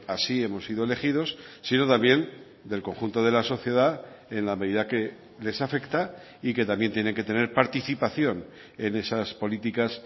así hemos sido elegidos sino también del conjunto de la sociedad en la medida que les afecta y que también tienen que tener participación en esas políticas